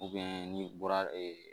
ni bɔra